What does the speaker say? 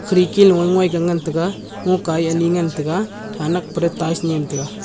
khirki luye ngoi ga ngan tega ngoka ye ni ngan tega thanak pera tiles nyem tega.